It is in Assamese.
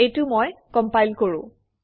এইটো মই কমপাইল কৰোঁ